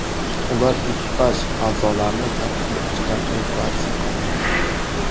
Ular ekipaj a’zolarini kapsula ichidan evakuatsiya qildi.